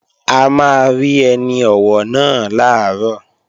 A máa rí ẹni ọ̀wọ̀ náà làárọ̀